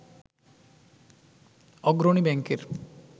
অগ্রণী ব্যাংকের